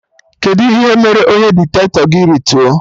Kedụ ihe mere onye diktato gị rituo?